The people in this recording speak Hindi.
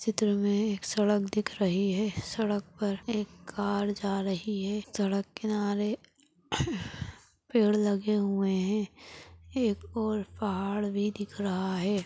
चित्र मे एक सड़क दिख रही है सड़क पर एक कार जा रही है सड़क किनारे पेड़ लगे हुए है एक और पहाड़ भी दिख रहा है।